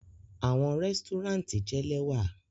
Awọn resturant jẹ lẹwa